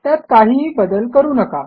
त्यात काहीही बदल करू नका